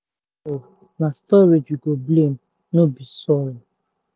if seed fail na storage we go blame — no be soil.